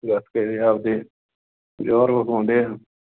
ਗੱਤਕੇ ਦੇ ਆਪ ਦੇ ਜੌਹਰ ਵਿਖਾਉਂਦੇ ਆ।